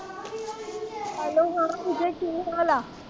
hello ਹਾਂ ਪੂਜਾ ਕੀ ਹਾਲ